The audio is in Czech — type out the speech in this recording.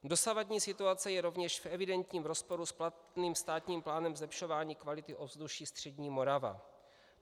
Dosavadní situace je rovněž v evidentním rozporu s platným státním plánem zlepšování kvality ovzduší střední Moravy.